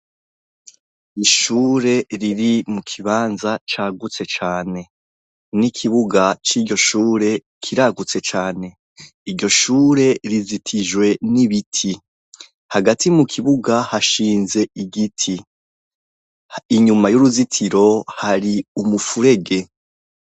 Ishure riri mu kibanza cagutse cane, n'ikibuga cy'iryoshure kiragutse cane, iryoshure rizitijwe n'ibiti, hagati mu kibuga hashinze igiti, inyuma y'uruzitiro hari umufurege.